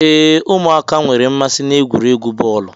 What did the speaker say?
Ee, ụmụaka nwere mmasị n'egwuregwu bọọlu.